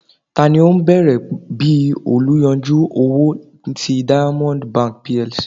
tani o bẹrẹ bi oluyanju owo ti diamond bank PLC?